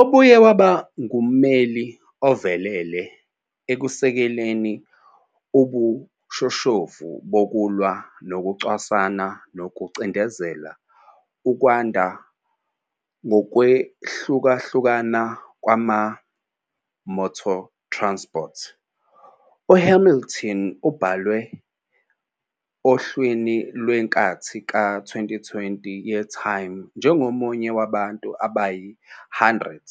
Ubuye waba ngummeli ovelele ekusekeleni ubushoshovu bokulwa nokucwasana nokucindezela ukwanda kokwehlukahlukana kumotorsport. UHamilton ubhalwe ohlwini lwenkathi ka-2020 yeTime njengomunye wabantu abayi-100